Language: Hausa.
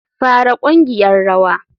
Fara ƙungiyar rawa.